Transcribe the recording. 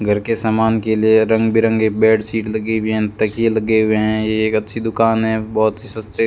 घर के समान के लिए रंग बिरंगे बेड शीट लगी हुई हैं तकिये लगे हुए है ये एक अच्छी दुकान है बहोत ही सस्ते --